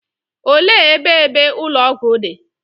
Olee ebe ebe ụlọ ọgwụ dị?